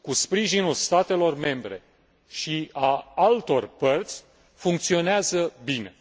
cu sprijinul statelor membre și a altor părți, funcționează bine.